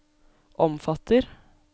omfatter